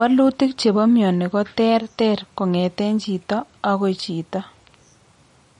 Wolutik che po mioni koterter kongeten chito agoi chito.